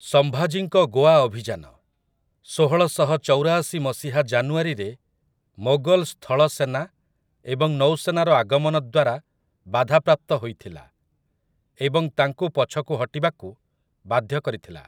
ସମ୍ଭାଜୀଙ୍କ ଗୋଆ ଅଭିଯାନ, ଷୋହଳଶହ ଚଉରାଶି ମସିହା ଜାନୁଆରୀରେ ମୋଗଲ୍‌ ସ୍ଥଳସେନା ଏବଂ ନୌସେନାର ଆଗମନ ଦ୍ୱାରା ବାଧାପ୍ରାପ୍ତ ହୋଇଥିଲା, ଏବଂ ତାଙ୍କୁ ପଛକୁ ହଟିବାକୁ ବାଧ୍ୟ କରିଥିଲା ।